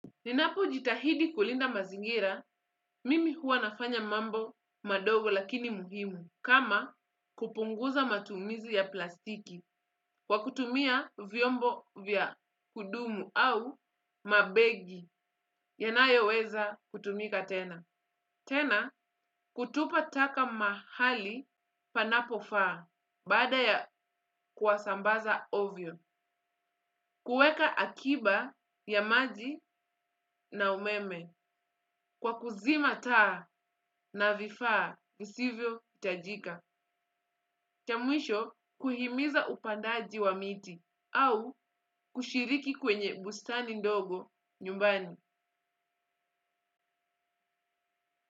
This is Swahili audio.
Ninapojitahidi kulinda mazingira, mimi huwa nafanya mambo madogo lakini muhimu, kama kupunguza matumizi ya plastiki, kwa kutumia vyombo vya kudumu au mabegi, yanayoweza kutumika tena. Tena kutupa taka mahali panapofaa baada ya kuwasambaza ovyo. Kuweka akiba ya maji na umeme. Kwa kuzima taa na vifaa visivyo hitajika. Cha mwisho kuhimiza upandaji wa miti au kushiriki kwenye bustani ndogo nyumbani.